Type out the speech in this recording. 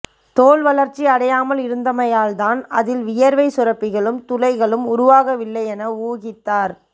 தோல் வளர்ச்சி அடையாமல் இருந்தமையால்தான் அதில் வியர்வைச்சுரப்பிகளும் துளைகளும் உருவாகவில்லை என ஊகித்தார்